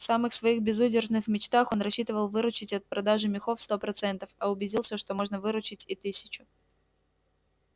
в самых своих безудержных мечтах он рассчитывал выручить от продажи мехов сто процентов а убедился что можно выручить и тысячу